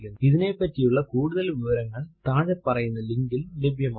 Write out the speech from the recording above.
ഇതിനെപ്പറ്റിയുള്ള കൂടുതൽ വിവരങ്ങൾ താഴെ പറയുന്ന ലിങ്കിൽ ലഭ്യമാണ്